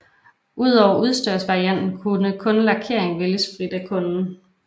Udover udstyrsvarianten kunne kun lakeringen vælges frit af kunden